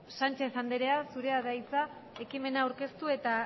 sánchez andrea zurea da hitza ekimena aurkeztu eta